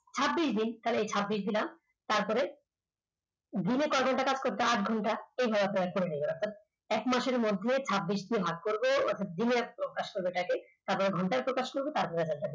ছাব্বিশ দিন তাহলে ছাব্বিশ দিলাম তারপরে দিনে কয় ঘন্টা কাজ করছে আটঘন্টা, তবে আপনারা করে নেবেন অর্থাৎ এক মাসের মধ্যে ছাব্বিশ দিয়ে ভাগ করব অর্থাৎ দিনে প্রকাশ করবে এটা কে তারপরে ঘন্টায় প্রকাশ করবে তারপরে